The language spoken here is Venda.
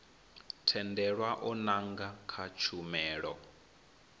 tendelwa u nanga kha tshumelo